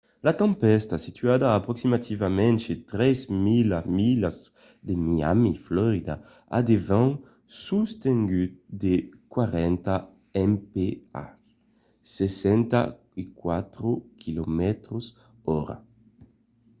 la tempèsta situada a aproximativament 3 000 milas de miami florida a de vents sostenguts de 40 mph 64 km/h